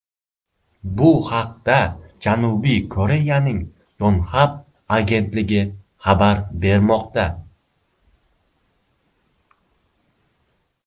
Bu haqda Janubiy Koreyaning Yonhap agentligi xabar bermoqda .